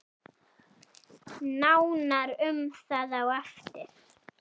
Nánar um það á eftir.